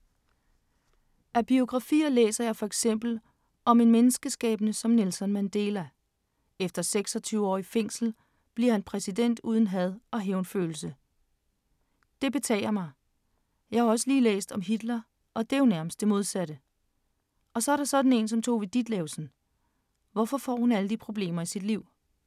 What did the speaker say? Af biografier læser jeg for eksempel om en menneskeskæbne som Nelson Mandela. Efter 26 år i fængsel bliver han præsident uden had og hævnfølelse. Det betager mig. Jeg har også lige læst om Hitler, og det er jo nærmest det modsatte, og så er der sådan én som Tove Ditlevsen, hvorfor får hun alle de problemer i sit liv?